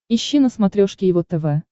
ищи на смотрешке его тв